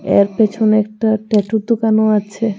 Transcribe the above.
এর পেছনে একটা ট্যাটুর দোকানও আছে .